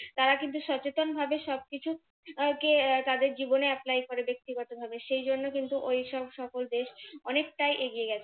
তারা কিন্তু সচেতন ভাবে সবকিছু কে তাদের জীবনে apply করে ব্যক্তিগতভাবে সেই জন্য কিন্তু ওইসব সকল দেশ অনেকটাই এগিয়ে গেছে